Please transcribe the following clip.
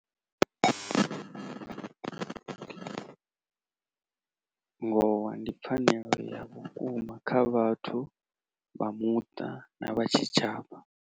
Ngowa ndi pfhanelo ya vhukuma kha vhathu vha muṱa na vha tshitshavha.